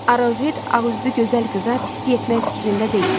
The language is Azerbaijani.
Arouhed ağüzlü gözəl qıza pislik etmək fikrində deyil.